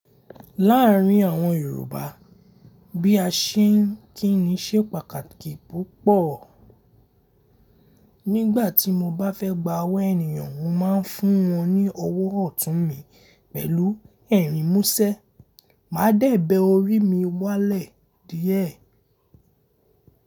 Láàárín àwọn Yorùbá bí a ṣe ń kí ni ṣe pàtàkì púpọ̀. Nígbà tí mo bá fẹ́ gba ọwọ́ ènìyàn, mo máa ń fún wọn ní ọwọ́ ọ̀tún mi pẹ̀lú ẹ̀rín mú ṣẹ́. Màá dẹ̀ bẹ orí mi wálẹ̀ díẹ̀.